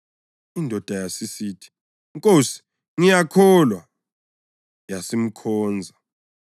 Indoda yasisithi, “Nkosi, ngiyakholwa,” yasimkhonza.